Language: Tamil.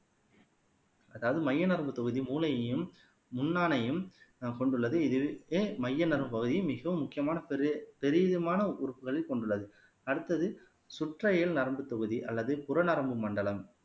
அதாவது மைய நரம்பு தொகுதி மூளையையும் முன்னானையும் கொண்டுள்ளது இதற்கு மைய நரம்ப பகுதி மிகவும் முக்கியமான பெ பெரிய விதமான உறுப்புகளை கொண்டுள்ளது அடுத்தது சுற்றையல் நரம்புத் தொகுதி அல்லது புறநரம்பு மண்டலம்